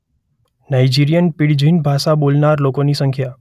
Nigerian pidgin ભાષા બોલનારા લોકોની સંખ્યા